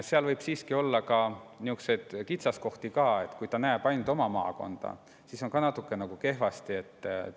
Samas võib seal olla niisuguseid kitsaskohti, et kui nähakse ainult oma maakonda, siis on natukene kehvasti.